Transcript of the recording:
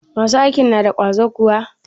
Masu aikin na da ƙwazo kuwa?